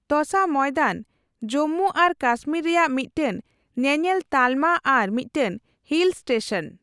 ᱛᱚᱥᱟ ᱢᱚᱭᱫᱟᱱ ᱡᱩᱢᱢᱩ ᱟᱨ ᱠᱟᱥᱢᱤᱨ ᱨᱮᱭᱟᱜ ᱢᱤᱫᱴᱟᱝ ᱧᱮᱧᱮᱞ ᱛᱟᱞᱢᱟ ᱟᱨ ᱢᱤᱫᱴᱟᱝ ᱦᱤᱞ ᱥᱴᱮᱥᱚᱱ ᱾